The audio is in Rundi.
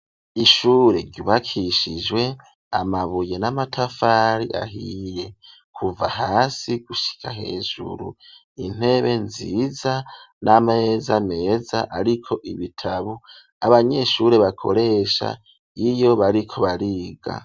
Ishure ryubakishijwe amabuye n'amatafari ahiye kuva hasi gushika hejuru intebe nziza n'ameza meza ariko ibitabo abanyeshure baroko bakoresha y'iyo bariko bariga.